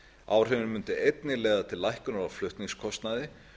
áhrifin mundu einnig leiða til lækkunar á flutningskostnaði